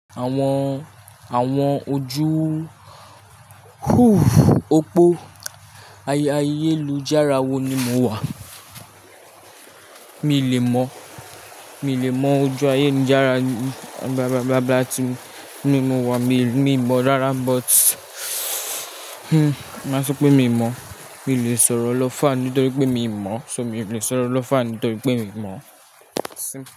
Àwọn, àwọn ojú opó. Ayé, ayélújára wo ni mo wà? Mi lè mọ̀, mi lè mọ ojú ayélujára tí mo wà. Mi lè, mi mọ̀ rárá but hmm, máa sọ pé mi ò mọ̀. Mi ò lè sọ̀rọ̀ lọ́ far nítorí pé mi ò mọ̀, so mi ò lè sọ̀rọ̀ lọ́ far nítorí pé mi mọ̀. Simple.